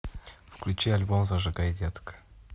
включи альбом зажигай детка